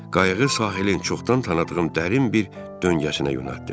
Qayığı sahilin çoxdan tanıdığım dərin bir döngəsinə yonəltim.